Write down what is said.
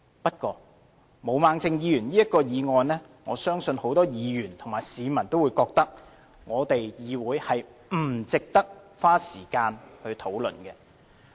不過，毛孟靜議員這項議案，我相信很多議員和市民均會認為，立法會議會不值得花時間來討論。